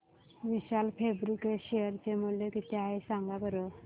विशाल Fabrics share चे मूल्य किती आहे सांगा बरं